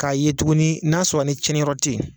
K'a ye tuguni n'a sɔɔrɔ ni cɛniyɔrɔ te yen